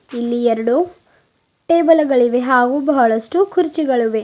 ಇಲ್ಲಿ ಎರಡು ಟೇಬಲುಗಳಿವೆ ಹಾಗು ಬಹಳಷ್ಟು ಕುರ್ಚಿಗಳುವೆ.